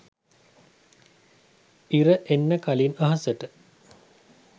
ඉර එන්න කලින් අහසට